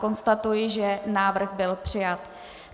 Konstatuji, že návrh byl přijat.